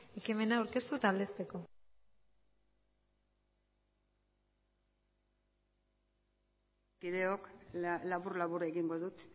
ekimena aurkeztu eta aldezteko kideok labur labur egingo dut